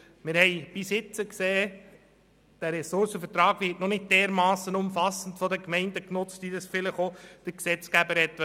Wir haben bisher gesehen, dass der Ressourcenvertrag von den Gemeinden nicht derart umfassend genutzt wird, wie das vielleicht der Gesetzgeber wollte.